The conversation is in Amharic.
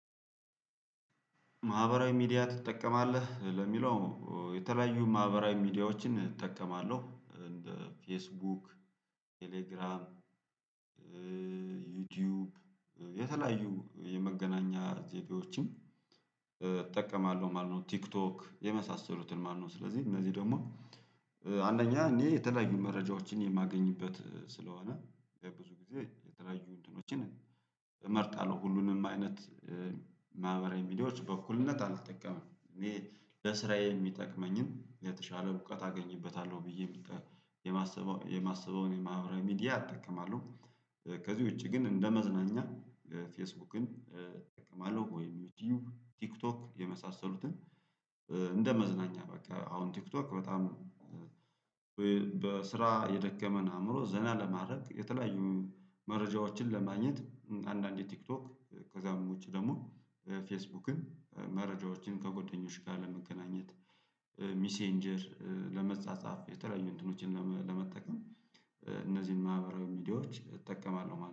ማህበራዊ ሚዲያ ትጠቀማለህ ለሚለው? የተለያዩ ማህበራዊ ሚዲያዎችን እጠቀማለሁ እንደ ፌስቡክ ቴሌግራም ዩቲዩብ የተለያዩ የመገናኛ ዜዲዎችን እጠቀማለሁ ማለት ነው። ቲክቶክ የመሳሰሉትን ማነው ስለዚህ እነዚህ ደግሞ አንደኛ እኔ የተለያዩ መረጃዎችን የማገኝበት ስለሆነ በብዙ ጊዜ የተረጁ ወንድኖችን እመርጣለሁ። ሁሉንም አይነት ማህበራዊ ሚዲያዎች በኩልነት አልተጠቀምም። እኔ ለስራዬ የሚጠቅመኝን የተሻለ እውቀት አገኝበታለሁ ብዬ የማሰበው የማሰበውን የማህበራዊ ሚዲያ እጠቀማለሁ። ከዚህ ውጪ ግን እንደ መዝናኛ ፌስቡክን እጠቀማለሁ። ወይም ቲዩብ ቲክቶክ የመሳሰሉትን። እንደ መዝናኛ በቃ አሁን ቲክቶክ በጣም በስራ የደከመን አእምሮ ዘና ለማድረግ የተለያዩ መረጃዎችን ለማግኘት አንዳንዴ ቲክቶክ ከዛም ውጪ ደግሞ ፌስቡክን መረጃዎችን ከጎደኞች ጋር ለመገናኘት ሚሴንጀር ለመጻጻፍ የተለያዩ እንትኖችን ለመጠቀም እነዚህን ማህበራዊ ሚዲያዎች እጠቀማለሁ